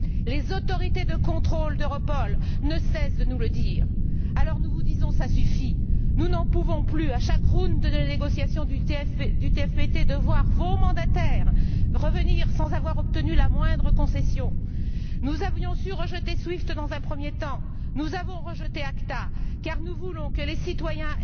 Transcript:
Les autorités de contrôle d'Europol ne cessent de nous le dire. Alors nous vous disons ça suffit! Nous n'en pouvons plus, à chaque cycle des négociations du TFTP, de voir vos mandataires revenir sans avoir obtenu la moindre concession. Nous avions su rejeter SWIFT dans un premier temps. Nous avons rejeté ACTA car nous voulons que les citoyens